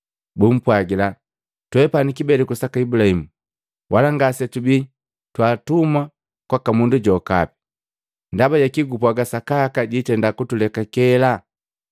Bumpwagila, “Twepani kibeleku saka Ibulahimu, Wala ngasetubii twaatumwa kwaka mundu jokapi. Ndaba jaki gupwaga, ‘Sakaka jiitenda kutulekakela?’ ”